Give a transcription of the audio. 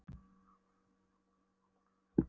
Hann hámaði í sig súkkulaðikökuna um stund.